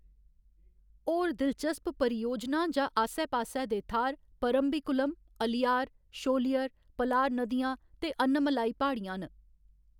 होर दिलचस्प परियोजनां जां आस्सै पास्सै दे थाह्‌‌‌र परम्बिकुलम, अलियार, शोलियर, पलार नदियां ते अनायमलाई प्हाड़ियां न।